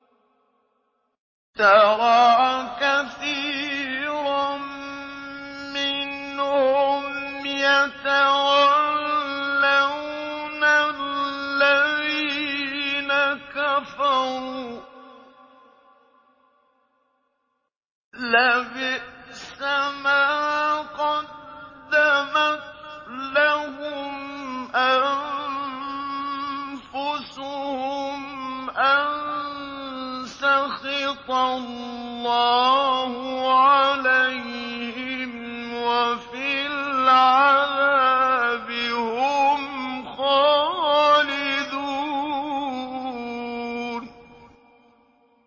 تَرَىٰ كَثِيرًا مِّنْهُمْ يَتَوَلَّوْنَ الَّذِينَ كَفَرُوا ۚ لَبِئْسَ مَا قَدَّمَتْ لَهُمْ أَنفُسُهُمْ أَن سَخِطَ اللَّهُ عَلَيْهِمْ وَفِي الْعَذَابِ هُمْ خَالِدُونَ